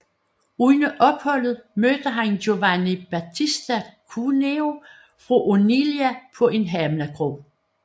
Under opholdet mødte han Giovanni Battista Cuneo fra Oneglia på en havnekro